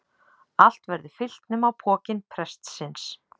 Allt verður fyllt nema pokinn prestsins.